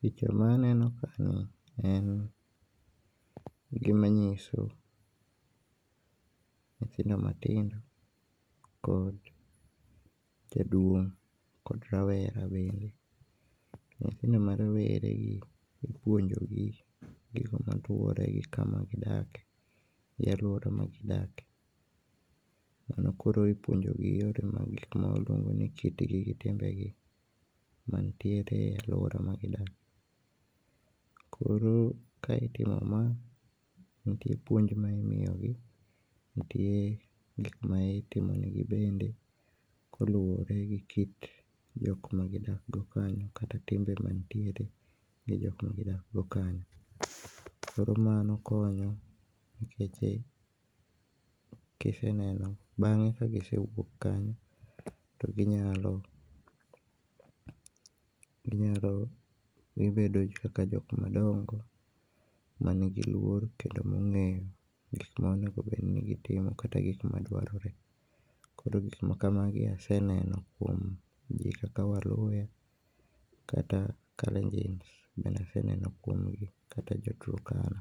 Picha ma aneno kae ni en gima nyiso nyithindo matindo kod jaduong kod rawera bende. Nyithindo ma rowere gi ipuonjogi gik maluore kod kama gidake gi aluora ma gidake, mondo koro ipuonjogi yore mag gik mawaluongo ni kit gi gi timbegi manitiere e aluora ma gidake. Koro ka itimo ma nitie puonj ma imiyo gi nitie gikma itimonegi bende koluore gi kit jokma gidak go kanyo kata timbe ma nitiere gi jokma gidak go kanyo. Koro mano konyo nikech e kiseneno bange ka gisewuok kanyo to ginyalo, ginyalo, gibedo kaka jok madongo manigi luor kendo mongeyo gik ma onego bed ni gitimo kata gik ma dwarore .Koro gik ma kamagi aseneno kuom jii kaka waluyha kata Kalenjins bende aseneno kuom gi kata jo Turkana.